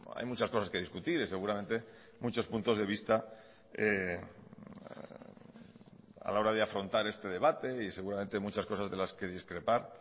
hay muchas cosas que discutir y seguramente muchos puntos de vista a la hora de afrontar este debate y seguramente muchas cosas de las que discrepar